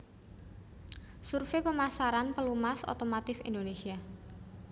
Survei Pemasaran Pelumas Otomotif Indonésia